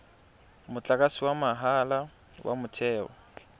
motlakase wa motheo wa mahala